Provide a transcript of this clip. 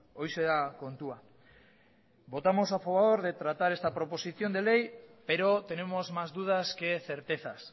horixe da kontua votamos a favor de tratar esta proposición de ley pero tenemos más dudas que certezas